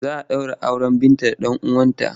Za a ɗaura auren Binta da ɗan uwanta.